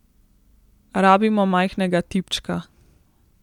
Rabimo majhnega tipčka.